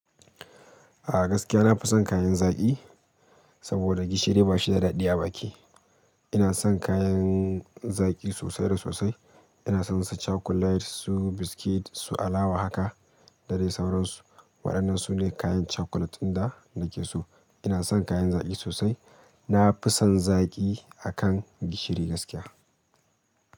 A gaskiya na fi son kayan zaƙi saboda gishiri bashi da daɗi a baki. Ina son kayan zaƙi sosai da sosai. Ina son su cakulet, su biskit su, alawa haka da dai sauransu. Wa'annan sune kayan chakulate ɗin da nakeso ina son kayan zaƙi sosai. Na fi son zaƙi akan gishiri gaskiya.